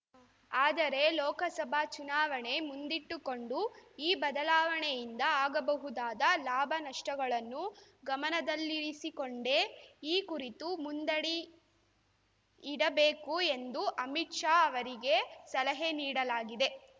ಆದರೆ ಲೋಕಸಭಾ ಚುನಾವಣೆ ಮುಂದಿಟ್ಟುಕೊಂಡು ಈ ಬದಲಾವಣೆಯಿಂದ ಆಗಬಹುದಾದ ಲಾಭನಷ್ಟಗಳನ್ನು ಗಮನದಲ್ಲಿರಿಸಿಕೊಂಡೇ ಈ ಕುರಿತು ಮುಂದಡಿಯಿಡಬೇಕು ಎಂದು ಅಮಿತ್‌ ಶಾ ಅವರಿಗೆ ಸಲಹೆ ನೀಡಲಾಗಿದೆ